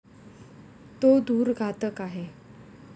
तो धूर घातक आहे.